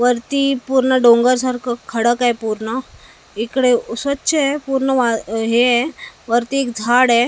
वरती पूर्ण डोंगरसारखं खडक आहे पूर्ण इकडे स्वच्छ आहे पूर्ण हे ए वरती एक झाड आहे .